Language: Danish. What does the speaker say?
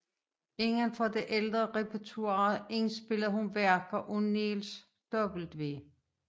Inden for det ældre repertoire indspillede hun værker af Niels W